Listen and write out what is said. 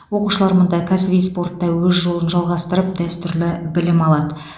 оқушылар мұнда кәсіби спортта өз жолын жалғастырып дәстүрлі білім алады